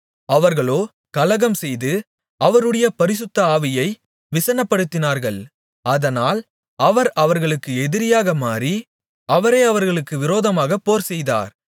அவர்களோ கலகம்செய்து அவருடைய பரிசுத்த ஆவியை விசனப்படுத்தினார்கள் அதினால் அவர் அவர்களுக்கு எதிரியாக மாறி அவரே அவர்களுக்கு விரோதமாக போர்செய்தார்